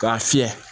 K'a fiyɛ